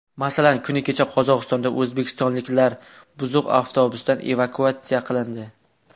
Masalan, kuni kecha Qozog‘istonda o‘zbekistonliklar buzuq avtobusdan evakuatsiya qilindi .